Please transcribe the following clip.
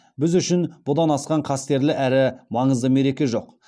біз үшін бұдан асқан қастерлі әрі маңызды мереке жоқ